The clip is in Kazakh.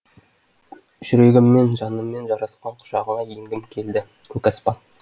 жүрегіммен жанымменен жарасқан құшағыңа енгім келді көк аспан